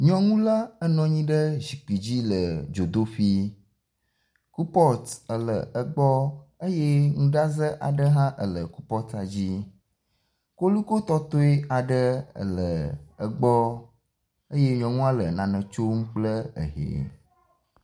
Nyɔnu la enɔ anyi ɖe zikpui dzi le dzodoƒee. Kupɔt ele egbɔ eye nuɖaze aɖe hã ele kupɔtia dzi. Kolikoetɔtɔe aɖe ele egbɔ eye nyɔnua le nane tsm kple ehɛ.